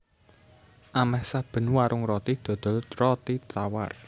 Amèh saben warung roti dodol roti tawar